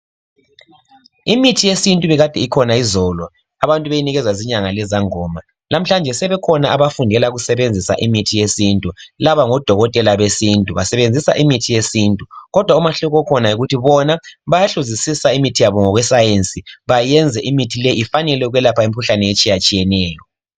Imithi yesintu ibikade ikhona izolo. Abantu beyinikezwa zinyanga lezangoma. Lamuhlanje sebekhona abafundela ukusebenzisa imithi yesintu. Laba ngodokoteka besintu, Basebenzisa imithi yesintu, kodwa umahluko okhona yikuthi bona bayahluzisisa imithi yabo ngokweScience. Benze imithi le ifanele ukwelapha imikhuhlane eminengi etshiyatshiyeneyo.